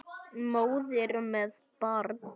Móðir með barn.